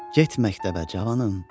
Get məktəbə cavanım.